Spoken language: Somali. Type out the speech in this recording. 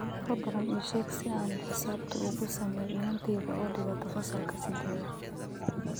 fadlan ii sheeg sida aan xisaabta ugu sameeyo inantayda oo dhigata fasalka sideedaad